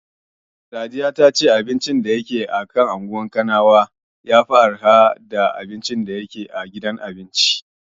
Sadiya ta ce abincin wajen shaƙatawar bai kai tsadar na gidan cin abincin ba.